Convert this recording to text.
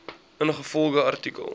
ingevolge artikel